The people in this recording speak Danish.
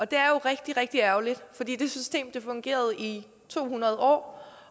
det er jo rigtig rigtig ærgerligt fordi det system fungerede i to hundrede år